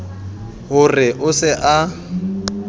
ho re o se a